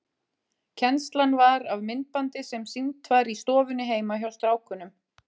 Kennslan var af myndbandi sem sýnt var í stofunni heima hjá strákunum.